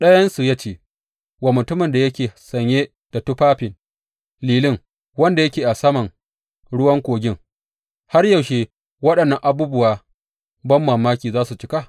Ɗayansu ya ce wa mutumin da yake sanye da tufafin lilin, wanda yake a saman ruwan kogin, Har yaushe waɗannan abubuwan banmamakin za su cika?